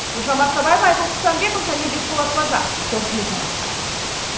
гүлжан марқабаева айбын құсанбеков және бекболат базаров қорытынды жаңалықтар